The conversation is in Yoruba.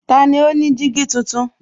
Tani ó ní jígí tuntun?